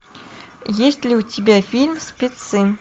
есть ли у тебя фильм спецы